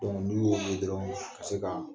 n'u y'o ye dɔrɔn ka se ka